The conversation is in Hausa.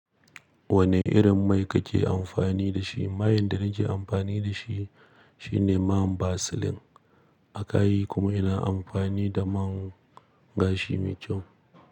Wane irin mai kake amfani da shi? Mai in da nake amfani da shi shine man Vaseline akai kuma ina amfani da man gashi mai kyau.